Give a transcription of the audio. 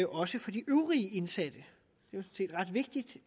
også for de øvrige indsatte det